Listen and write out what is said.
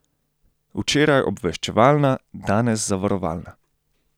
Včeraj obveščevalna, danes zavarovalna.